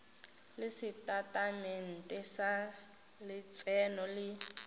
le setatamente sa letseno le